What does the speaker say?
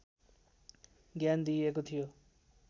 ज्ञान दिइएको थियो